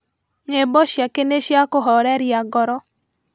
Nyimbo ciake nĩ cia kũhoreria ngoro